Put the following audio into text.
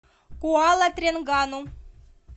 куала тренгану